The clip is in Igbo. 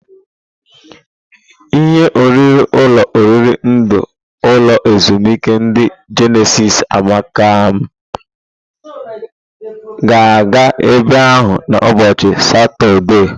Ihe oriri ulo oriri ndi ulo ezimuike ndi Jenesis amaka m ga aga ebe ahu na ubochi satode.